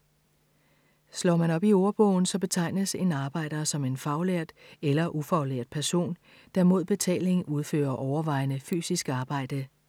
Slår man op i ordbogen, så betegnes en arbejder som en faglært eller ufaglært person, der mod betaling udfører overvejende fysisk arbejde.